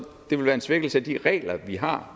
det vil være en svækkelse af de regler vi har